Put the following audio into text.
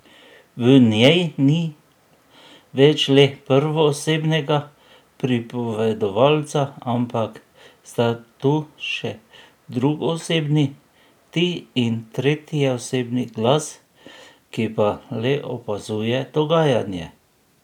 V njej ni več le prvoosebnega pripovedovalca, ampak sta tu še drugoosebni ti in tretjeosebni glas, ki pa le opazuje dogajanje.